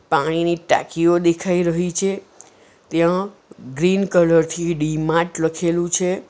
પાણીની ટાંકીઓ દેખાઈ રહી છે ત્યાં ગ્રીન કલર થી ડી-માર્ટ લખેલું છે.